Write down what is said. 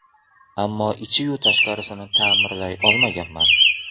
Ammo ichiyu tashqarisini ta’mirlay olmaganman.